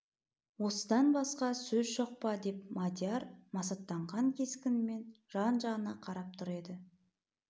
осыдан басқа сөз жоқ па деп мадияр масаттанған кескінмен жан-жағына қарап тұр еді